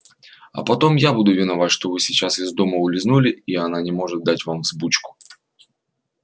а потом я буду виноват что вы сейчас из дома улизнули и она не может дать вам взбучку